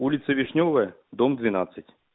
улица вишнёвая дом двенадцать